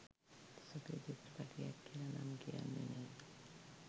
සුපිරි චිත්‍රපටයක් කියල නම් කියන්නෙ නෑ.